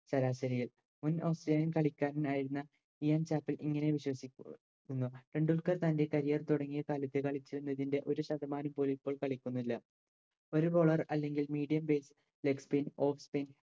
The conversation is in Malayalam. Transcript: ശരാശരിയിൽ മുൻ Australian കളിക്കാരനായിരുന്ന ലിയാൻ ചപ്പേൽ ഇങ്ങനെ വിശേഷഷി ക്കുന്നു ടെൻഡുൽക്കർ തൻറെ career തുടങ്ങിയ കാലത്ത് കളിച്ചിരുന്നതിന്റെ ഒരുശതമാനം പോലും ഇപ്പോൾ കളിക്കുന്നില്ല ഒരു bowler അല്ലെങ്കിൽ Medium